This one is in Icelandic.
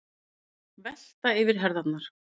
Velta yfir herðarnar.